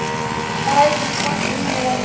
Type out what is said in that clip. Ræsum kort í níu.